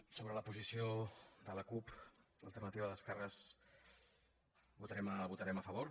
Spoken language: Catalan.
sobre la posició de la cup · alternativa d’esquerres hi vo·tarem a favor